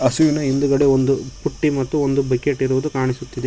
ಹಸುವಿನ ಹಿಂದುಗಡೆ ಒಂದು ಪುಟ್ಟಿ ಮತ್ತು ಒಂದು ಬಕೆಟ್ ಇರುವುದು ಕಾಣಿಸುತ್ತಿದೆ.